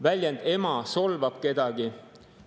Väljend "ema" solvab kedagi.